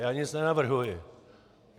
Já nic nenavrhuji.